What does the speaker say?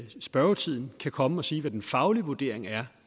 spørgetiden kan komme og sige hvad den faglige vurdering af